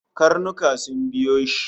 Karnuka sun biyo shi